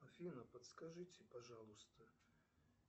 афина подскажите пожалуйста